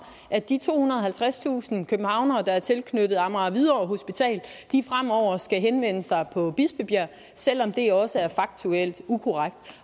at de tohundrede og halvtredstusind københavnere der er tilknyttet amager hvidovre hospital fremover skal henvende sig på bispebjerg selv om det også er faktuelt ukorrekt